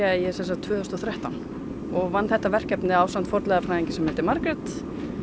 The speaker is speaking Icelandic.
ég sem sagt tvö þúsund og þrettán og vann þetta verkefni ásamt fornleifafræðingi sem heitir Margrét